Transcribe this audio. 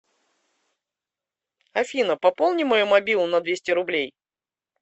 афина пополни мою мобилу на двести рублей